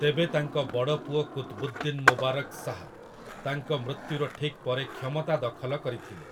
ତେବେ ତାଙ୍କ ବଡ଼ ପୁଅ କୁତ୍‌ବୁଦ୍ଦିନ୍‌ ମୁବାରକ୍ ଶାହ୍ ତାଙ୍କ ମୃତ୍ୟୁର ଠିକ୍ ପରେ କ୍ଷମତା ଦଖଲ କରିଥିଲେ ।